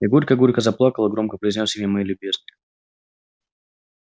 я горько горько заплакал и громко произнёс имя моей любезной